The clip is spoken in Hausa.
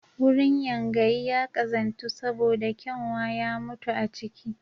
Wurin yangayi ya ƙazantu saboda kyanwa ya mutu a ciki